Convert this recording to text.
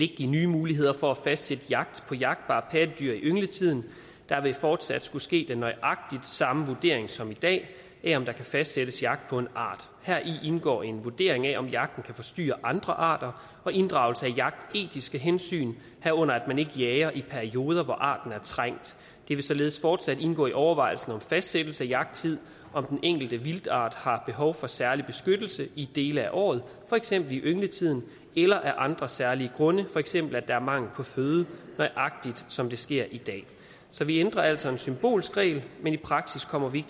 give nye muligheder for at fastsætte jagt på jagtbare pattedyr i yngletiden der vil fortsat skulle ske den nøjagtig samme vurdering som i dag af om der kan fastsættes jagt på en art heri indgår en vurdering af om jagten kan forstyrre andre arter og inddragelse af jagtetiske hensyn herunder at man ikke jager i perioder hvor arten er trængt det vil således fortsat indgå i overvejelsen om fastsættelse af jagttid om den enkelte vildtart har behov for særlig beskyttelse i dele af året for eksempel i yngletiden eller af andre særlige grunde for eksempel at der er mangel på føde nøjagtig som det sker i dag så vi ændrer altså en symbolsk regel men i praksis kommer vi